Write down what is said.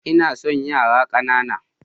Ina son yara ƙanana.